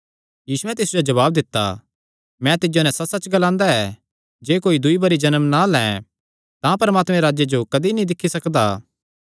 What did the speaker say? यीशुयैं तिस जो जवाब दित्ता मैं तिज्जो नैं सच्चसच्च ग्लांदा जे कोई दूई बरी जन्म ना लैं तां परमात्मे दे राज्जे जो कदी नीं दिक्खी सकदा